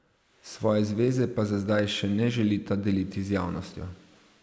Svoje zveze pa za zdaj še ne želita deliti z javnostjo.